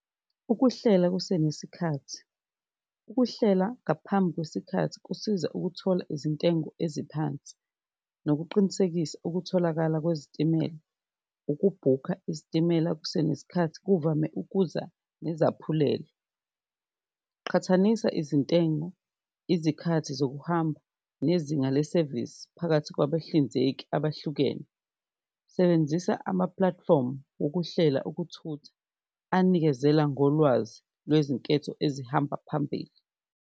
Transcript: Ukuhlela kusenesikhathi ukuhlela ngaphambi kwesikhathi kusiza ukuthola izintengo eziphansi, nokuqinisekisa okutholakala kwezitimela, ukubhukha isitimela kusenesikhathi kuvame ukuza nezaphulelo, qhathanisa izintengo, izikhathi zokuhamba nezinga lesevisi phakathi kwabahlinzeki abahlukene. Sebenzisa ama-platform wokuhlelwa okuthutha anikezela ngolwazi lwezinketho ezihamba phambili.